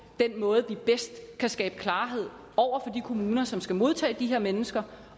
den måde vi bedst kan skabe klarhed over for de kommuner som skal modtage de her mennesker